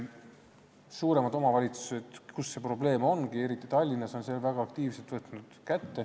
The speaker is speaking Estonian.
Suuremates omavalitsustes, kus see on probleem, eriti Tallinnas, on see teema väga aktiivselt ette võetud.